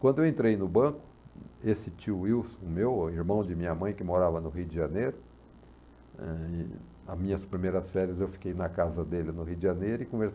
Quando eu entrei no banco, esse tio Wilson, meu irmão de minha mãe, que morava no Rio de Janeiro, ãh, nas minhas primeiras férias eu fiquei na casa dele no Rio de Janeiro e